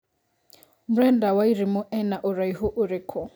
Brenda Wairimu ena ũraĩhu ũrĩkũ